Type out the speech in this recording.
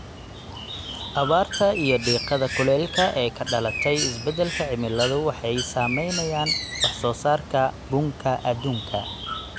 Abaarta iyo diiqada kulaylka ee ka dhalatay isbedalka cimiladu waxay saameeyaan wax soo saarka bunka adduunka.